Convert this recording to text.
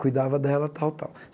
Cuidava dela tal, tal.